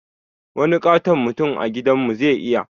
Wani ƙaton mutum a gidan mu zai iya